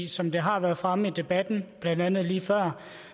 som det har været fremme i debatten blandt andet lige før